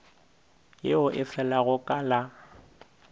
yeo e felago ka la